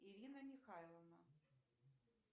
ирина михайловна